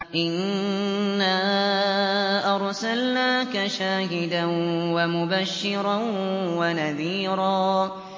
إِنَّا أَرْسَلْنَاكَ شَاهِدًا وَمُبَشِّرًا وَنَذِيرًا